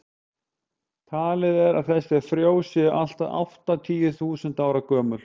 talið er að þessi frjó séu allt að áttatíu þúsund ára gömul